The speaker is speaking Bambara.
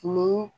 Olu